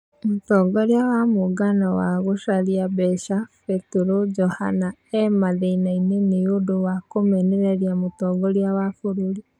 Mũtongoria wa mũngano wa gũcaria mbeca, Petero Johana e mathĩnainĩ nĩ ũndũwa kũmũmenereria mũtongoria wa bũrũri.